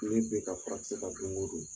Ne bɛ ka furakisɛ ta don o don.